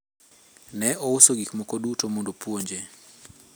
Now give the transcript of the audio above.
ne ouso gik moko duto mondo opuonje